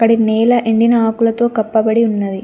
ఈడ నేల ఎండిన ఆకులతో కప్పబడి ఉన్నది.